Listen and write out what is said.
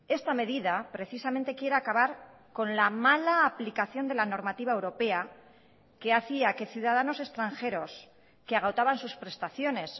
esta medida precisamente quiere acabar con la mala aplicación de la normativa europea que hacía que ciudadanos extranjeros que agotaban sus prestaciones